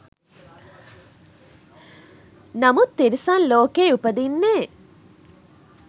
නමුත් තිරිසන් ලෝකයේ උපදින්නේ